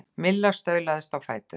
Milla staulaðist á fætur.